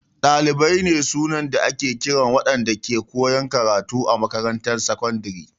Dalibai ne sunan da ake kiran waɗanda ke koyan karatu a makarantar sakandare.